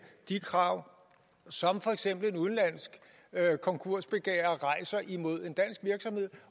de krav som for eksempel udenlandske konkursbegærere rejser imod en dansk virksomhed